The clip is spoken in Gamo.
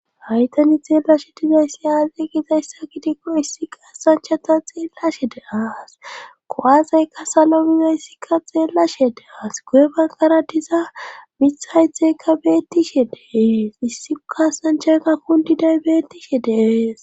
Haytani xeellashe dizayssi aaze gizayssa kitikko issi kaasanchata xeellashe de as kowazaykka salo bizayssikka xeellashe deas guye bankara diza mithaythekka beettishe dees issi kasanchaka kundiday beettishe deeees.